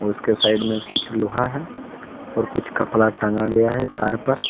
उसके साइड में कुछ लोहा है और कुछ कपड़ा टंगा गया है तार पर।